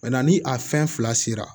ni a fɛn fila sera